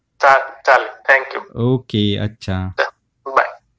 हो चालेल चालेल, थँक यु.